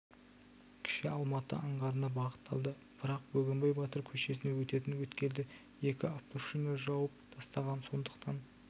кіші алматы аңғарына бағытталды бірақ бөгенбай батыр көшесіне өтетін өткелді екі автошина жауып тастаған сондықтан